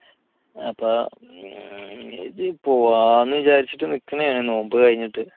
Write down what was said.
അപ്പോ പോകാമെന്ന് വിചാരിച്ചിട്ട് നിൽക്കുകയാണ് നോമ്പ് കഴിഞ്ഞിട്ട്